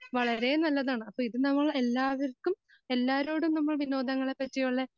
വളരെ നല്ലതാണ് അപ്പോ ഇതു നമ്മൾ എല്ലാവർക്കും എല്ലാരോടും നമ്മൾ വിനോദങ്ങളെ പറ്റിയുള്ള